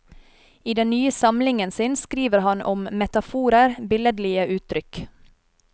I den nye samlingen sin skriver han om metaforer, billedlige uttrykk.